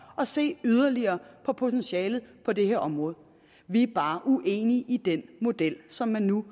at se yderligere på potentialet på det her område vi er bare uenige i den model som man nu